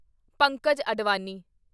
Pankaj Advani